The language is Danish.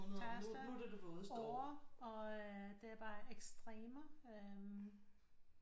Tørreste år og det er bare ekstremer øh